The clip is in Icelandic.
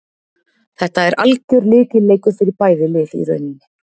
Þetta er algjör lykilleikur fyrir bæði lið í rauninni.